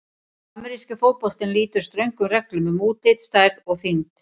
Ameríski fótboltinn lýtur ströngum reglum um útlit, stærð og þyngd.